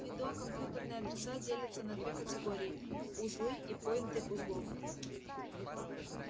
в фидо компьютерные адреса делятся на две категории узлы и пойнты узлов